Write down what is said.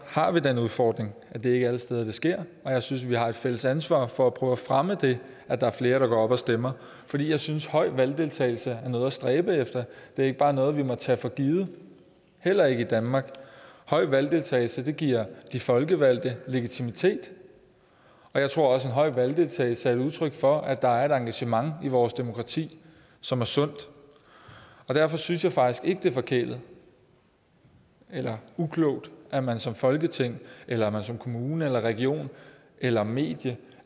har vi den udfordring at det ikke er alle steder det sker og jeg synes vi har et fælles ansvar for at prøve at fremme det at der er flere der går op og stemmer for jeg synes at høj valgdeltagelse er noget at stræbe efter det er ikke bare noget vi må tage for givet heller ikke i danmark høj valgdeltagelse giver de folkevalgte legitimitet og jeg tror også at høj valgdeltagelse er et udtryk for at der er et engagement i vores demokrati som er sundt og derfor synes jeg faktisk ikke det er forkælet eller uklogt at man som folketing eller at man som kommune eller region eller medie